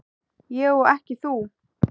Ég og ekki þú.